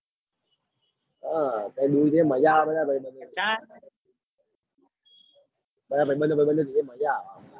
હ તમે બે મજા આવ બધા ભૈબંદ જોડે બધા ભૈબંડો ભૈબંદો જોડે મજા આવ.